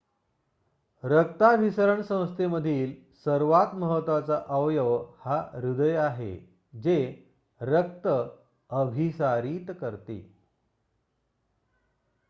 रक्ताभिसरण संस्थेमधील सर्वात महत्वाचा अवयव हा हृदय आहे जे रक्त अभिसारीत करते